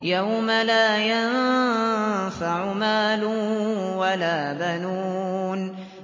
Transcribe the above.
يَوْمَ لَا يَنفَعُ مَالٌ وَلَا بَنُونَ